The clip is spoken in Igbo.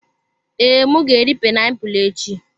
Ee, m ga-eri painiapulu echi.